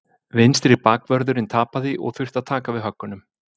Vinstri bakvörðurinn tapaði og þurfti að taka við höggunum.